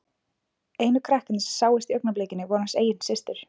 Einu krakkarnir sem sáust í augnablikinu voru hans eigin systur.